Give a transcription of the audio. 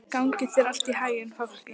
Gangi þér allt í haginn, Fálki.